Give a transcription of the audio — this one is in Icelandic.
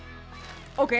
ókei